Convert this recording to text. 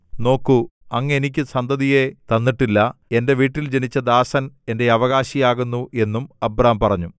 നോക്കൂ അങ്ങ് എനിക്ക് സന്തതിയെ തന്നിട്ടില്ല എന്റെ വീട്ടിൽ ജനിച്ച ദാസൻ എന്റെ അവകാശിയാകുന്നു എന്നും അബ്രാം പറഞ്ഞു